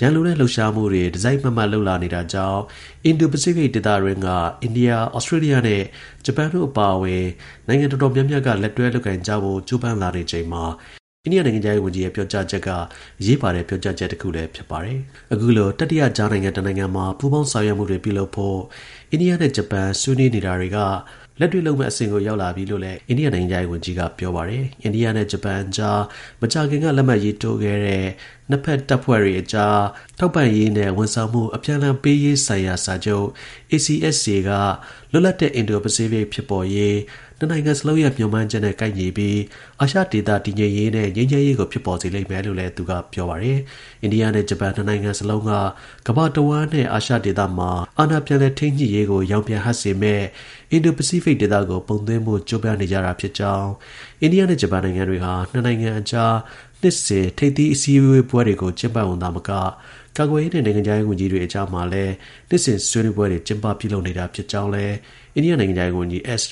ရန်လိုတဲ့ လှုပ်ရှားမှုတွေ တစ်စိုက်မတ်မတ် လုပ်လာနေတာကြောင့် အင်ဒို-ပစိဖိတ် ဒေသတွင်းက အိန္ဒိယ၊ ဩစတြေးလျနဲ့ ဂျပန်တို့ အပါအဝင် နိုင်ငံ တော်တော်များများက လက်တွဲ လုပ်ကိုင်ကြဖို့ ကြိုးပမ်းလာနေချိန်မှာ အိန္ဒိယ နိုင်ငံခြားရေး ဝန်ကြီးရဲ့ ပြောကြားချက်က အရေးပါတဲ့ ပြောကြားချက်တစ်ခုလည်း ဖြစ်လာပါတယ်။ အခုလို တတိယကြားခံနိုင်ငံတစ်နိုင်ငံမှာ ပူးပေါင်း ဆောင်ရွက်မှုတွေ ပြုလုပ်ဖို့ အိန္ဒိယနဲ့ ဂျပန်ဆွေးနွေးနေတာတွေကနေ လက်တွေ့ လုပ်မယ့် အဆင့်ကို ရောက်လာပြီလို့လည်း အိန္ဒိယ နိုင်ငံခြားရေး ဝန်ကြီး S Jaishankarက ပြောပါတယ်။ အိန္ဒိယနဲ့ ဂျပန်အကြား မကြာခင်က လက်မှတ်ရေးထိုးခဲ့တဲ့ နှစ်ဖက် တပ်ဖွဲ့တွေအကြား ထောက်ပံ့ရေးနဲ့ ဝန်ဆောင်မှု အပြန်အလှန် ပေးရေးဆိုင်ရာ စာချုပ် ACSA ကလွတ်လပ်တဲ့ အင်ဒို-ပစိဖိတ် ဖြစ်ပေါ်ရေး နှစ်နိုင်ငံစလုံးရဲ့ မျှော်မှန်းချက်နဲ့ ကိုက်ညီပြီး အာရှဒေသ တည်ငြိမ်ရေးနဲ့ ငြိမ်းချမ်းရေးကိုလည်း ဖြစ်ပေါ်စေလိမ့်မယ်လို့လည်း သူက ပြောပါတယ်။ အိန္ဒိယနဲ့ ဂျပန် ၂ နိုင်ငံစလုံးက ကမ္ဘာတစ်ဝှမ်းနဲ့ အာရှ ဒေသမှာ အာဏာ ပြန်လည် ထိန်းညှိရေးကို ရောင်ပြန် ဟပ်စေမယ့် အင်ဒို- ပစိဖိတ်ဒေသကို ပုံသွင်းဖို့ ကြိုးပမ်းနေကြာတာ ဖြစ်ကြောင်း၊ အိန္ဒိယနဲ့ ဂျပန်နိုင်ငံတွေဟာ နှစ်နိုင်ငံအကြား နှစ်စဉ် ထိပ်သီး အစည်းအဝေးပွဲကို သာမက ကာကွယ်ရေးနဲ့ နိုင်ငံခြားရေးဝန်ကြီးတွေ အကြားမှာလည်း နှစ်စဉ် ဆွေးနွေးပွဲတွေ ကျင်းပ ပြုလုပ် နေတာ ဖြစ်ကြောင်းလည်း အိန္ဒိယ နိုင်ငံခြားရေး ဝန်ကြီး S